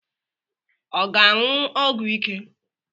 Ọ ga-aṅụ ọgwụ ike?